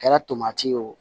Kɛra tomati ye o